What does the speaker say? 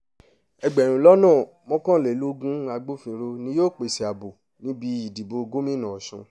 ẹgbẹ̀rún lọ́nà mọ́kànlélógún agbófinró ni yóò pèsè ààbò níbi ìdìbò gómìnà ọ̀sùn